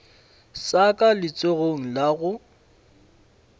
sa ka letsogong la go